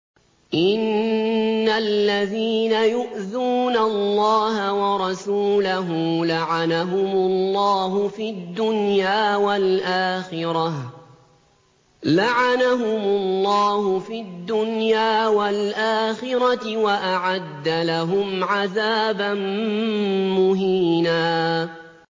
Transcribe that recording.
إِنَّ الَّذِينَ يُؤْذُونَ اللَّهَ وَرَسُولَهُ لَعَنَهُمُ اللَّهُ فِي الدُّنْيَا وَالْآخِرَةِ وَأَعَدَّ لَهُمْ عَذَابًا مُّهِينًا